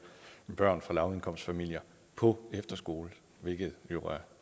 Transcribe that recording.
børn fra lavindkomstfamilier på efterskole hvilket er